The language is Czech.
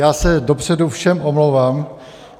Já se dopředu všem omlouvám.